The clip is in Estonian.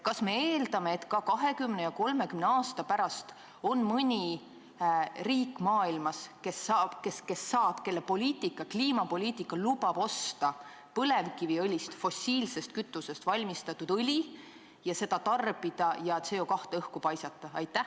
Kas me eeldame, et ka 20 ja 30 aasta pärast on maailmas mõni riik, kelle kliimapoliitika lubab osta põlevkivist, fossiilsest kütusest valmistatud õli, seda tarbida ja CO2 õhku paisata?